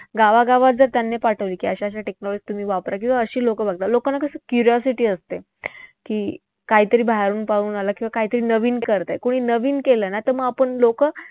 गावागावात जर त्यांना पाठवलं की अशा अशा technology तुम्ही वापरा. लोकांना कसं curiosity असते की काहीतरी बाहेरून पाहून आला किंवा काहीतरी नवीन करतंय. कोणी नवीन केलं ना तर मग आपण लोकं